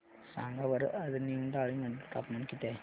सांगा बरं आज निमडाळे मध्ये तापमान किती आहे